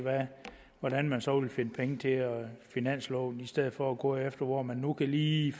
hvordan man så ville finde penge til finansloven i stedet for at gå efter hvor man nu lige